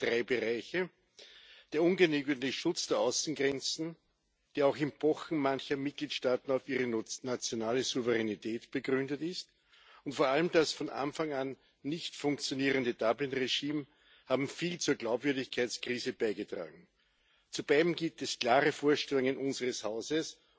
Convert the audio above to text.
Ich sehe da drei Bereiche Der ungenügende Schutz der Außengrenzen, der auch im Pochen mancher Mitgliedstaaten auf ihre nationale Souveränität begründet ist, und vor allem das von Anfang an nicht funktionierende Dublin Regime haben viel zur Glaubwürdigkeitskrise beigetragen. Zu beiden gibt es klare Vorstellungen unseres Hauses.